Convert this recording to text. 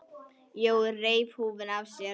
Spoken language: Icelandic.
Jói reif húfuna af sér.